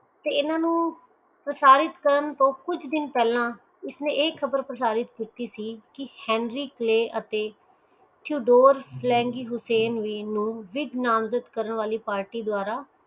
ਤੇ ਇਹਨਾਂ ਨੂੰ ਪ੍ਰਸਾਰਿਤ ਕਰਨ ਤੋਂ ਕੁਛ ਦਿਨ ਪਹਿਲਾਂ ਹੀ ਤੇ ਇਸਨੇ ਇਹ ਲਹਾਬਰਾ ਪ੍ਰਸਾਰਿਤ ਕਿੱਤੀ ਸੀ hendrix and chudor flanging hussain ਨਾਮ ਨਾਲ ਪਾਰਟੀ ਕਾਰਨ ਦੁਆਰਾ